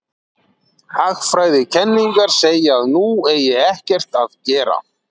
Hagfræðikenningarnar segja að nú eigi ekkert að gera.